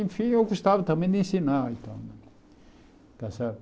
Enfim, eu gostava também de ensinar e tal está certo.